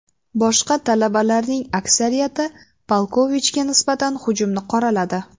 Boshqa talabalarning aksariyati Palkovichga nisbatan hujumni qoraladi.